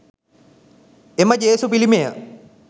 එම ජේසු පිළිමය